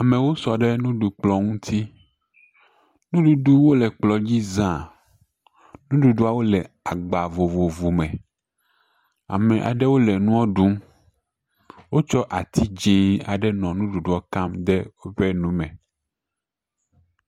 Amewo sɔ ɖe nuɖuɖukplɔ̃ ŋuti. Nuɖuɖu le kplɔ̃ dzi zã. Nuɖuɖuawo le agba vovovo me. Amewo nɔ nua ɖum. Wotsɔ ati dzẽ aɖe nɔ nuɖuɖuɔ kam ɖe woƒe nume.